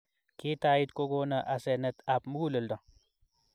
gitait kokona asenet ap mukuleldo